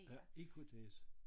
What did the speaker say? Ja i KTAS?